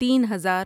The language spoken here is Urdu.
تین ہزار